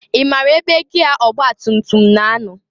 I mara ebe gịa ọgbatutum na- anọ?